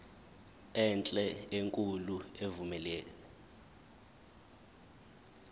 enhle enkulu evumela